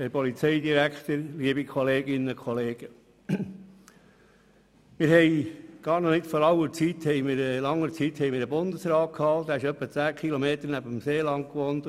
Vor noch nicht ganz so langer Zeit gab es einen Bundesrat, der ungefähr 10 km weit weg vom Seeland wohnte.